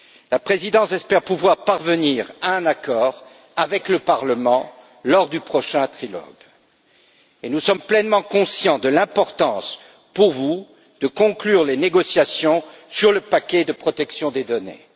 La présidence espère pouvoir parvenir à un accord avec le Parlement lors du prochain trilogue et nous sommes pleinement conscients de l'importance, pour vous, de conclure les négociations sur le paquet de protection des données.